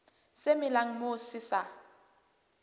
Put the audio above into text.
se melang moo se sa